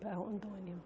Para Rondônia.